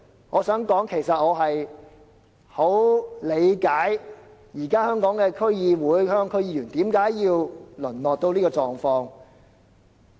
我想說，其實我十分理解現時本港區議會、區議員何以淪落至此。